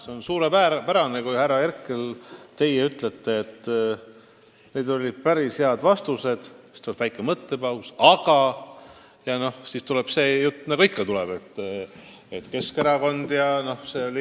See on suurepärane, kui te, härra Herkel, ütlete, et need olid päris head vastused, ja siis tuleb väike mõttepaus ning järgneb jutt nagu ikka, et Keskerakond jne.